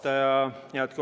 Hea juhataja!